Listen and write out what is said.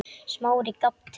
Smári gapti.